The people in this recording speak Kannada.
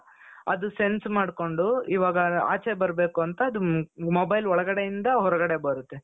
ಅದು sense ಮಾಡ್ಕೊಂಡು ಈವಾಗ ಆಚೆ ಬರಬೇಕು ಅದು mobile ಒಳಗಡೆಯಿಂದ ಹೊರಗಡೆ ಬರುತ್ತೆ .